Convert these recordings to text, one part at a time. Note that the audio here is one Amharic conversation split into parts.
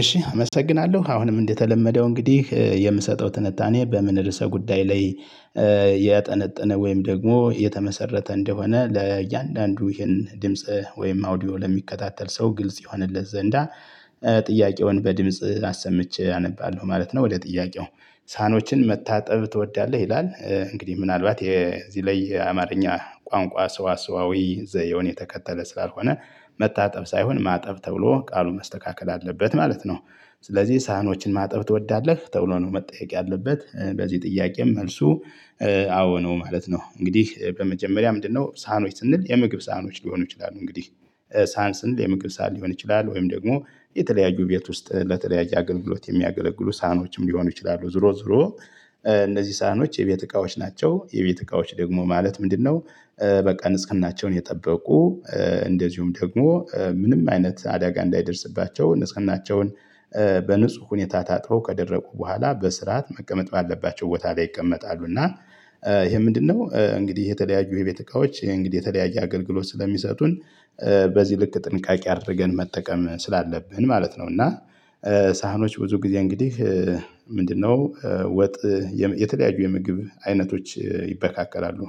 እሺ አመሰግናለሁ አሁንም እንደተለመደው እንግዲህ የምሰጠው ትንታኔ በምን ርዕሰ ጉዳይ ላይ ያጠነጠነ ወይም ደግሞ የተመሰረተ እንደሆነ ለእያንዳንዱ ይሄን ድምጽ ወይም አውዲዮ ለሚከታተል ሰው ግልጽ ይሆንለት ዘንዳ ጥያቄውን በድምጽ አሰምቼ አነባለሁ ማለት ነው። ወደ ጥያቄው ሳህኖችን መታጠብ ትወዳለህ? ይላል እንግዲህ ምናልባት የዚህ ላይ የአማርኛ ቋንቋ ሰዋሰዋዊ ዘየውን የተከተለ ስላልሆነ መታጠብ ሳይሆን ማጠብ ተብሎ ቃሉ መስተካከል አለበት ማለት ነው። ስለዚህ ሳህኖችን ማጠብ ትወዳለህ? ተብሎ ነው መጠየቅ ያለበት በዚህ ጥያቄም መልሱ አዎ ነው ማለት ነው። እንግዲህ በመጀመሪያ ምንድነው? ሳኖች ስንል የምግብ ሳኖች ሊሆኑ ይችላሉ። እንግዲህ ሳህን ስንል የምግብ ሳን ሊሆን ይችላል። ወይም ደግሞ የተለያዩ ቤት ውስጥ ለተለያየ አገልግሎት የሚያገለግሉ ሳህኖችም ሊሆኑ ይችላሉ። ዞሮ ዞሮ እነዚህ ሳህኖች የቤት እቃዎች ናቸው። የቤት እቃዎች ደግሞ ማለት ምንድነው? በቃ ንጽህናቸውን የጠበቁ እንደዚሁም ደግሞ ምንም አይነት አዳጋ እንዳይደርስባቸው ንጽህናቸውን በንጹህ ሁኔታ ታጥበው ከደረቁ በኋላ በስርዓት መቀመጥ ባለባቸው ቦታ ላይ ይቀመጣሉ። እና ይሄ ምንድነው? እንግዲህ የተለያዩ የቤተ እቃዎች እንግዲህ የተለያየ አገልግሎት ስለሚሰጡን በዚህ ልክ ጥንቃቄ አድርገን መጠቀም ስላለብን ማለት ነው። እና ሳህኖች ብዙ ጊዜ እንግዲህ ምንድነው ወጥ የተለያዩ የምግብ አይነቶች ይበካከላሉ።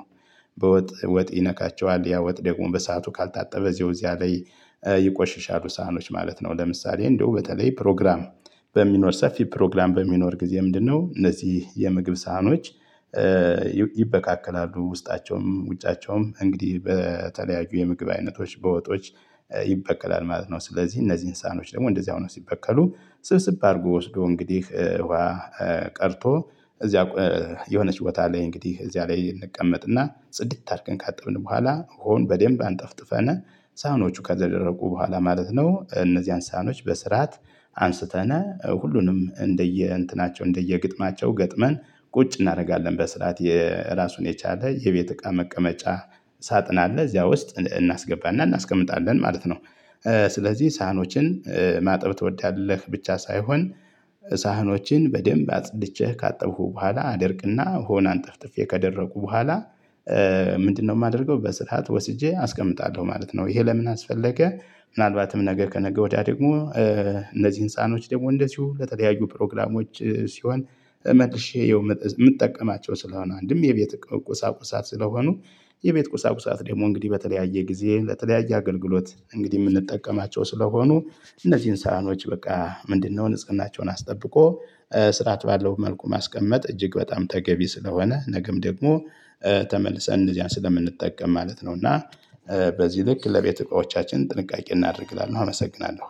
በወጥ ወጥ ይነካቸዋል ያ ወጥ ደግሞ በሰአቱ ካልታጠበ ዜውዚያ ላይ ይቆሽሻሉ ሳህኖች ማለት ነው። ለምሳሌ እንደው በተለይ ፕሮግራም በሚኖር ሰፊ ፕሮግራም በሚኖር ጊዜ ምንድነው? እነዚህ የምግብ ሳህኖች ይበቃቀላሉ ውስጣቸውም ውጫቸውም እንግዲህ በተለያዩ የምግብ አይነቶች በወጦች ይበከላል ማለት ነው። ስለዚህ እነዚህ እንሳኖች ደግሞ እንደዚያው ነው ሲበቀሉ ስብስብ አድርጎ ወስዶ እንግዲህ ውሃ ቀርቶ እዚያ የሆነች ቦታ ላይ እንግዲህ እዚያ ላይ እንቀመጥና ጽድት አድርገን ካጠብን በኋላ ውሃውን በደንብ አንጠፍጥፈነ። ሳህኖቹ ከደረቁ በኋላ ማለት ነው። እነዚህን ሳህኖች በስርዓት አንስተነ ሁሉንም እንደየ እንትናቸው እንደየ ግጥማቸው ገጥመን ቁጭ እናደርጋለን በስርዓት የራሱን የቻለ የቤት እቃ መቀመጫ ሳጥን አለ እዚያ ውስጥ እናስገባና እናስቀምጣለን ማለት ነው። ስለዚህ ሳህኖችን ማጠብ ትወዳለህ? ብቻ ሳይሆን ሳህኖችን በደንብ አጽድቼ ካጠብኩ በኋላ አደርቅና ውሃውን አንጠፍጥፌ ከደረቁ በኋላ ምንድነው የማደርገው በስርዓት ወስጄ አስቀምጣለሁ ማለት ነው። ይሄ ለምን አስፈለገ? ምናልባትም ነገ ከነገ ወዲያ ደግሞ እነዚህ ህንፃኖች ደግሞ እንደዚሁ ለተደያዩ ፕሮግራሞች ሲሆን መልሼ የምጠቀማቸው ስለሆነ አንድም የቤት ቁሳቁሳ ስለሆኑ። የቤት ቁሳቁሳት ደግሞ እንግዲህ በተለያየ ጊዜ ለተለያየ አገልግሎት እንግዲህ የምንጠቀማቸው ስለሆኑ። እነዚህን ሳህኖች በቃ ምንድነው ንጽህናቸውን አስጠብቆ ስርዓት ባለው መልኩ ማስቀመጥ እጅግ በጣም ተገቢ ስለሆነ ነገም ደግሞ ተመልሰን እንደዚያ ስለምንጠቀም ማለት ነው። እና በዚህ ልክ ለቤት እቃዎቻችን ጥንቃቄ እናደርግላለን አመሰግናለሁ